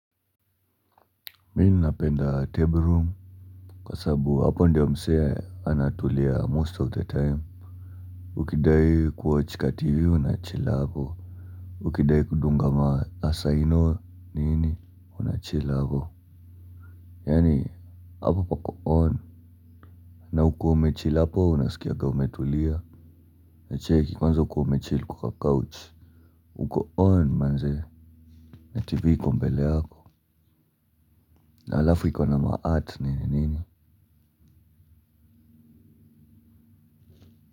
Mi ninapenda table room kwa sababu hapo ndiyo msee anatulia most of the time. Ukidai kuwatch ka tv unachill hapo. Ukidai kudunga maasaino nini unachill hapo. Yaani hapo pako on. Na huko umechill hapo unasikiaga umetulia. Na cheki kwanza ukiwa umechill kwa kacouch. Huko on manze. Na tv iko mbele yako. Na halafu iko na ma art nini nini Muzika.